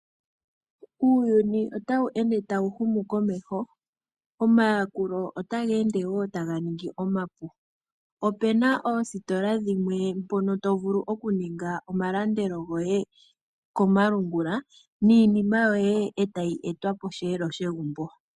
Uuyuni otawu ende tawu humu komeho omayakulo otaga ende woo taga ningi omahupi . Opena oositola dhimwe mpono tovulu okuninga omalandelo goye komalungula niinima yoye etayi etwa posheelo shegumbo